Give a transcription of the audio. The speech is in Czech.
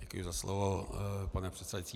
Děkuji za slovo, pane předsedající.